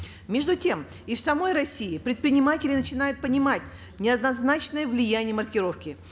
между тем и в самой россии предприниматели начинают понимать неоднозначные влияния маркировки